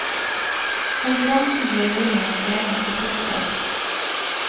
Konferansen blir muligens forlenget til torsdag.